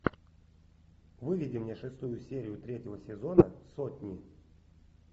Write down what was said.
выведи мне шестую серию третьего сезона сотни